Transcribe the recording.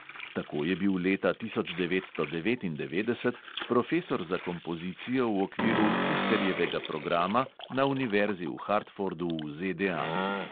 Tako je bil leta tisoč devetsto devetindevetdeset profesor za kompozicijo v okviru fisterjevega programa na univerzi v hartfordu v ZDA.